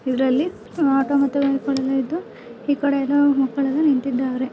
ಇದರಲ್ಲಿ ಈ ಕಡೆಯಿಂದ ನಿಂತಿದ್ದಾರೆ.